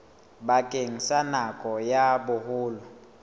bakeng sa nako ya boholo